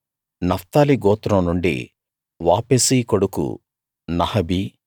Naphtali గోత్రం నుండి Vophsi కొడుకు నహబీ